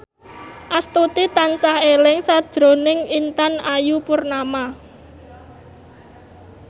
Astuti tansah eling sakjroning Intan Ayu Purnama